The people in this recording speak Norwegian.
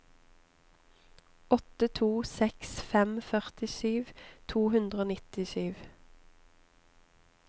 åtte to seks fem førtisju to hundre og nittisju